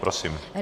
Prosím.